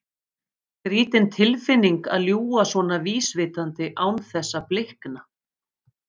Skrýtin tilfinning að ljúga svona vísvitandi án þess að blikna.